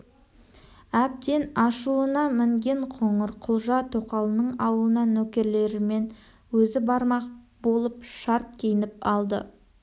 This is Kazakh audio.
әбден ашуына мінген қоңырқұлжа тоқалының ауылына нөкерлерімен өзі бармақ болып шарт киініп алды